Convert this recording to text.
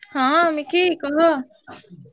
ହଁ ମିକି କହ।